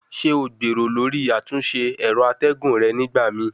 Ṣe o gbero lori atunse ęro ategun re nigbamii?